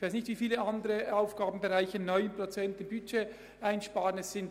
Ich weiss nicht, wie viele andere Aufgabenbereiche 9 Prozent ihres Budgets einsparen müssen.